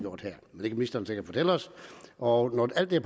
ministeren sikkert fortælle os og når alt det